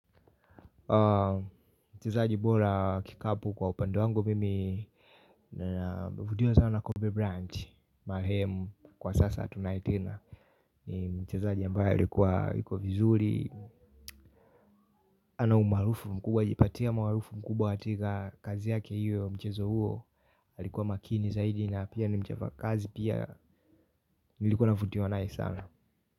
Mchezaji bora wa kikapu kwa upende wangu mimi navutiwa sana Kobe bryant marehemu kwa sasa hatunaye tena. Ni mchezaaji ambaye alikuwa yiko vizuri. Ana umaarufu mkubwa jipatia maarufu mkubwa katika kazi yake hiyo mchezo huo. Alikuwa makini zaidi na pia nimchapa kazi pia nilikuwa navutiwa nayi sana.